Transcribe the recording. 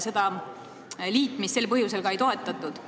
Seda liitmist sel põhjusel ka ei toetatud.